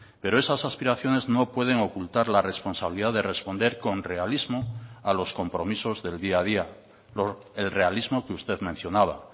pero esas aspiraciones no pueden ocultar la responsabilidad de responder con realismo a los compromisos del día a día el realismo que usted mencionaba